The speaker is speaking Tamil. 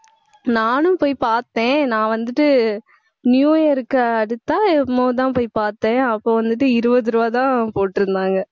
நானும் போய் பார்த்தேன் நான் வந்துட்டு new year க்கு அடுத்தா என்னமோதான் போய் பார்த்தேன் அப்போ வந்துட்டு இருபது ரூபாய் தான் போட்டுருந்தாங்க